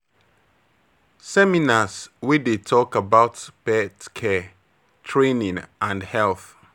Seminars wey dey talk about pet care, training and health